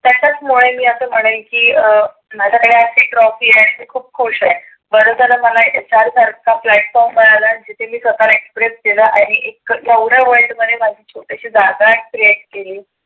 त्याच्याच मुळे मी असं म्हणेल की अं माझ्याकडे आज जी trophy आहे मी खुप खुश आहे. बर झालंंमला यच्या सारखा platform मिळाळा. तीथे मी स्वतःला express केलं. आणि एक एवढ world मध्ये एक जागा create केली.